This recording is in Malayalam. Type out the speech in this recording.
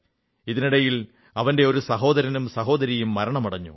ഇതിനിടയിൽ അവന്റെ ഒരു സഹോദരനും സഹോദരിയും മരണമടഞ്ഞു